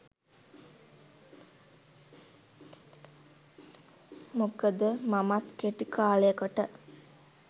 මොකද මමත් කෙටි කාලයකට